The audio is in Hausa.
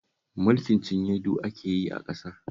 Mulkin cinye-du ake yi a ƙasar